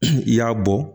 I y'a bɔ